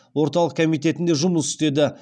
орталық комитетінде жұмыс істеді